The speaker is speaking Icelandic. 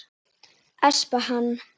Espa hann.